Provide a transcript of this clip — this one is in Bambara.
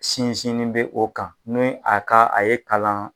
Sinsinnen bɛ o kan n'o a ka a ye kalan